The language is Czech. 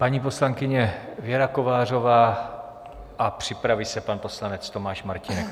Paní poslankyně Věra Kovářová a připraví se pan poslanec Tomáš Martínek.